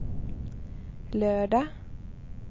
lördag